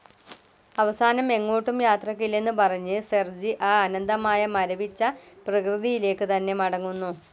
അവസാനം എങ്ങോട്ടും യാത്രക്കില്ലെന്നു പറഞ്ഞ് സെർജി ആ അനന്തമായ മരവിച്ച പ്രകൃതിയിലേക്കു തന്നെ മടങ്ങുന്നു.